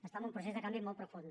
està en un procés de canvi molt profund